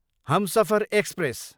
Humsafar express